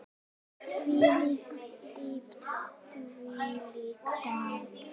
Þvílík dýpt, þvílíkt drama.